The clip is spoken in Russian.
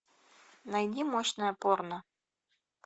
найди мощное порно